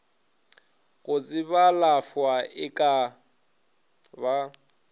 go tsebalafwa e ka ba